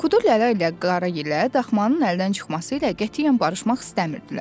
Kuduləllər ilə Qaragilə daxmanın əldən çıxması ilə qətiyyən barışmaq istəmirdilər.